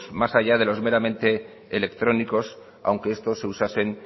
mecanismos más allá de los meramente electrónicos aunque estos se usasen